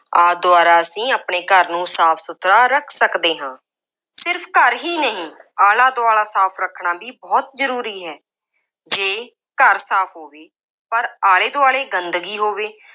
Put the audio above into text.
ਆਦਿ ਦੁਆਰਾ ਅਸੀਂ ਆਪਣੇ ਘਰ ਨੂੰ ਸਾਫ ਸੁਥਰਾ ਰੱਖ ਸਕਦੇ ਹਾਂ। ਸਿਰਫ ਘਰ ਹੀ ਨਹੀਂ ਆਲਾ-ਦੁਆਲਾ ਸਾਫ ਰੱਖਣਾ ਵੀ ਬਹੁਤ ਜ਼ਰੂਰੀ ਹੈ। ਜੇ ਘਰ ਸਾਫ ਹੋਵੇ ਪਰ ਆਲੇ ਦੁਆਲੇ ਗੰਦਗੀ ਹੋਵੇ,